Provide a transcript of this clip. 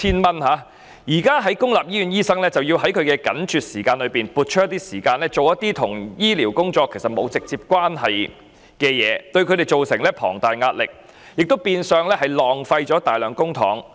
不過，現時公立醫院醫生卻要在緊絀的時間內撥出時間執行一些與醫療沒有直接關係的工作，對他們造成龐大壓力，亦變相浪費大量公帑。